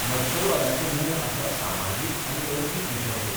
नक्षलवादाचें मूळ आसा सामाजीक आनी अर्थीक विशमतेंत.